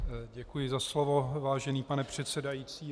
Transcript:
Děkuji za slovo, vážený pane předsedající.